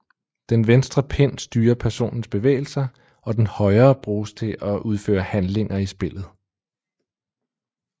Den venstre pind styrer personens bevægelser og den højre bruges til at udføre handlinger i spillet